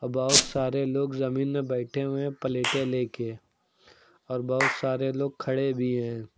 बहोत सारे लोग जमीन में बैठे हुए है पलेटें लेके और बहोत सारे लोग खड़े भी है।